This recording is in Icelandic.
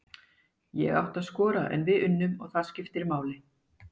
Ég átti að skora en við unnum og það skiptir máli!